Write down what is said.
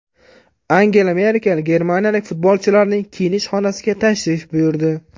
Angela Merkel germaniyalik futbolchilarning kiyinish xonasiga tashrif buyurdi.